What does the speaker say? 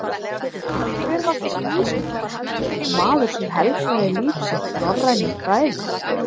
En hver var þessi vísindamaður og maður sem helgaði líf sitt norrænum fræðum?